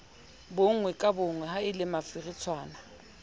bonngwe ka bonngwe haele mafiritshwana